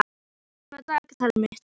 Kristrún, opnaðu dagatalið mitt.